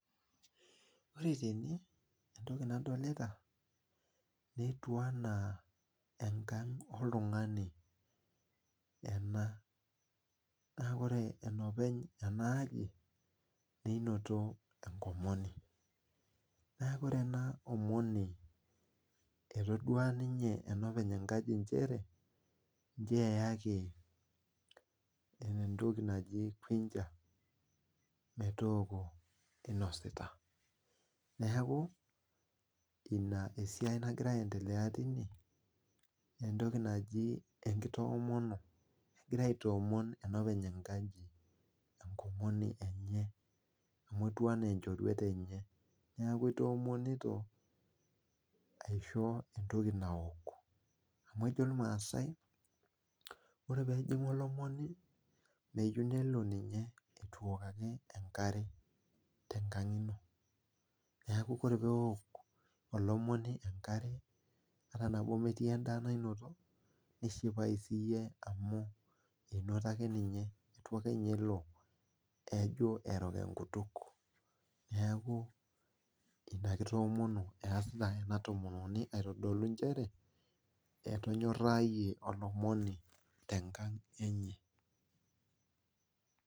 Ore tene entoki nadolita netiu enaa enkang oltungani, naa ore enopeny enaaji menoto enkomoni, naa ore ena omoni, etodua ninye enopeny enkang nchere nchoo eyaki entoki naji kuicha metooko inosita, neeku ina entoki nagira endelea tine entoki naji enkitoomono egira enopeny enkang aitoomon enkomoni enye emu etiu enaa enchworet enye neeku itoomonito aisho entoki naok, amu ejo irmaasai ore pee ejingu olomoni meyieu ninye nelo eitu eok ake enkare tenkang ino, neeku ore pee eok olomoni enkare ata metii endaa nainoto nishipayu siiyie amu eitu ake ninye elo erok enkutuk, neeku ina kitoomono esita ena tomononi aitodolu nchere etonyorayie olomoni tenkang enye.